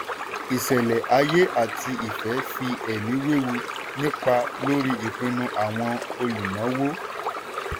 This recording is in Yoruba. ìṣẹ̀lẹ̀ ayé àti ìfẹ́ fi ẹ̀mí wewu nípa lórí ìpinnu àwọn olùnáwó.